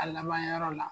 A laban yɔrɔ la